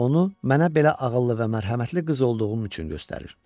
Onu mənə belə ağıllı və mərhəmətli qız olduğum üçün göstərir.